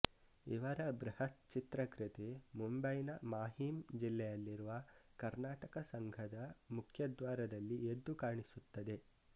ಇವರ ಬೃಹತ್ ಚಿತ್ರ ಕೃತಿ ಮುಂಬಯಿನ ಮಾಹೀಮ್ ಜಿಲ್ಲೆಯಲ್ಲಿರುವ ಕರ್ನಾಟಕ ಸಂಘದ ಮುಖದ್ವಾರದಲ್ಲಿ ಎದ್ದು ಕಾಣಿಸುತ್ತದೆ